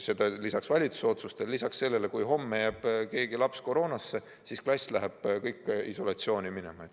Ja lisaks valitsuse otsustele tekib ju olukordi, kus jääb mõni laps koroonasse, ja siis läheb terve klass isolatsiooni.